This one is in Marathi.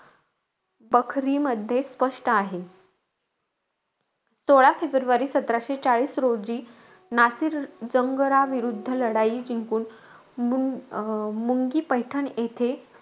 पखरीमध्ये स्पष्ट आहे. सोळा फेब्रुवारी सतराशे चाळीस रोजी नासिर जंगराविरुद्ध लढाई जिंकून मूं मुंगी-पैठण येथे,